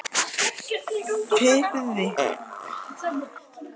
firði þegar gamalt timburhús hafði nánast brunnið til grunna.